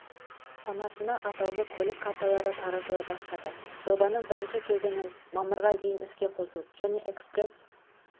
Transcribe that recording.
санатына атаулы көлік карталары таратыла бастады жобаның бірінші кезеңін мамырға дейін іске қосу және экспресс